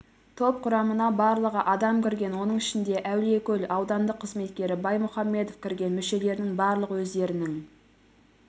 топ құрамына барлығы адам кірген оның ішінде әулиекөл аудандық қызметкері баймұхамбетов кірген мүшелерінің барлығы өздерінің